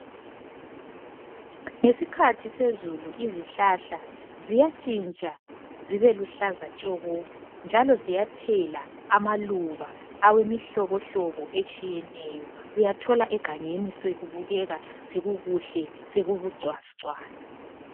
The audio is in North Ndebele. Yisikhathi sezulu izihlahla ziyatshintsha zibe luhlaza tshoko njalo ziyathela amaluba awemihlobohlobo etshiyeneyo uyathola egangeni sokubukeka sokukuhle sokubu cwazi cwazi